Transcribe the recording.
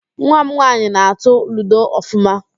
Nwa m nwaanyị na-atụ ludo ọfụma